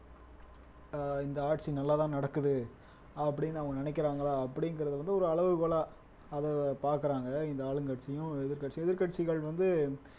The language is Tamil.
ஆஹ் இந்த ஆட்சி நல்லாதான் நடக்குது அப்படின்னு அவங்க நினைக்கிறாங்களா அப்படிங்கறது வந்து ஒரு அளவுகோலா அதை பாக்குறாங்க இந்த ஆளுங்கட்சியும் எதிர்க்கட்சியும் எதிர்க்கட்சிகள் வந்து